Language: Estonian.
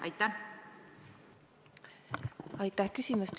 Aitäh küsimast!